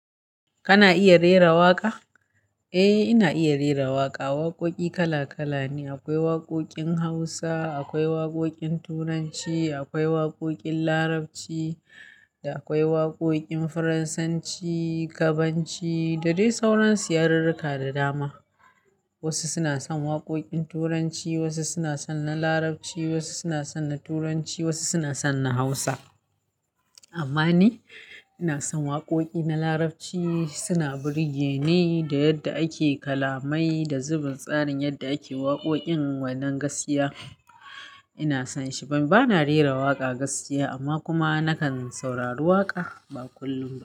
Kana iya rera waƙa? Eh, ina iya rera waƙa. Waƙoƙi kala kala ne. Akwai waƙoƙin Hausa, akwai waƙoƙin Turanci, akwai waƙoƙin Larabci da akwai waƙoƙin Fransanci, Gabanci da dai sauransu ya rurruka da dama. Wasu suna son waƙoƙin Turanci, wasu suna son na Larabci, wasu suna son na Turanci, wasu suna son na Hausa. Amma ni ina son waƙoƙi na Larabci, suna burge ni da yadda ake kalamai da zubin tsarin yadda ake waƙoƙin wannan gaskiya. Ina son shi. Bana rera waƙa gaskiya amma kuma nakan saurari waƙa, ba kullum ba.